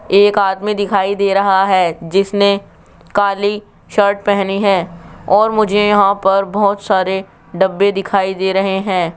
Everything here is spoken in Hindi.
एक आदमी दिखाई दे रहा है जिसने काली शर्ट पहनी है और मुझे यहां पर बहुत सारे डब्बे दिखाई दे रहे हैं।